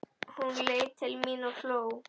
Hún leit til mín og hló.